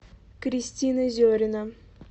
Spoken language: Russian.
кристина зерина